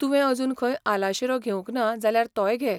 तुवें अजुन खंय आलाशिरो घेवंक ना जाल्यार तोय घे.